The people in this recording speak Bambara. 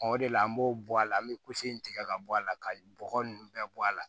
o de la an b'o bɔ a la an bɛ in tigɛ ka bɔ a la ka bɔgɔ ninnu bɛɛ bɔ a la